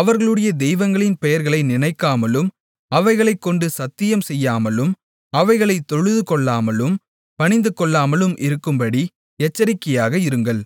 அவர்களுடைய தெய்வங்களின் பெயர்களை நினைக்காமலும் அவைகளைக்கொண்டு சத்தியம்செய்யாமலும் அவைகளைத் தொழுதுகொள்ளாமலும் பணிந்துகொள்ளாமலும் இருக்கும்படி எச்சரிக்கையாக இருங்கள்